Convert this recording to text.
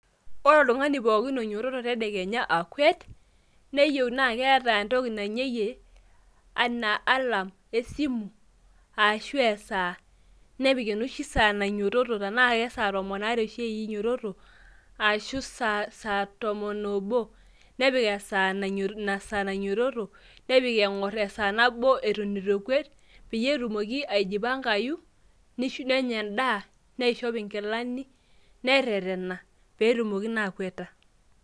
Ore oltung'ani pookin oinyototo tedekenya akwet, neyieu na keeta entoki nainyeyie enaa alarm esimu, ashu esaa. Napik enoshi saa nainyototo enaa kesatomon aare oshi inyototo, ashu sa tomon obo, nepik inasaa nainyototo, nepik eng'or esaa nabo eton eitu epuoi, peyie etumoki aijipankayu, nenya endaa, neishop inkilani, nerrerrena peetumoki naa akweta.